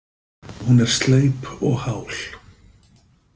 Hún er sleip og hál.